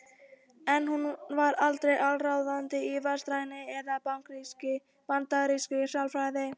En hún var aldrei allsráðandi í vestrænni eða bandarískri sálfræði.